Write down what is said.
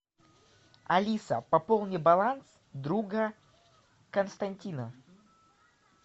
алиса пополни баланс друга константина